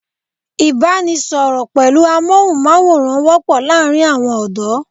Ìbánisọ̀rọ̀ pẹ̀lú amóhùnmáwòrán wọ́pọ̀ láàárín àwọn ọ̀dọ́